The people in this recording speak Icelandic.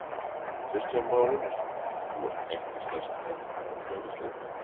Kristján Már Unnarsson: Þú ert ekki stærsti kartöflubóndi á Íslandi?